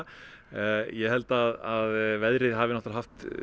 ég held að veðrið hafi haft